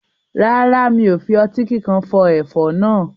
Rárá, mi ò fi ọtí kíkan fọ ẹ̀fọ́ náà.